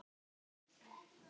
Það ýtir ekki undir traust.